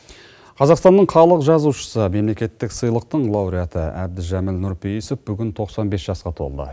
қазақстанның халық жазушысы мемлекеттік сыйлықтың лауреаты әбдіжәміл нұрпеиісов бүгін тоқсан бес жасқа толды